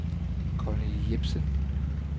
Conny Jepsen